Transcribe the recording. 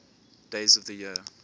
days of the year